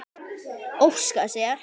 Óska sér.